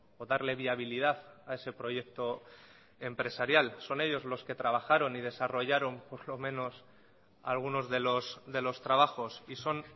o darle viabilidad a ese proyecto empresarial son ellos los que trabajaron y desarrollaron por lo menos algunos de los trabajos y son